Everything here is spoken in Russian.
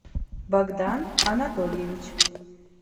богдан анатольевич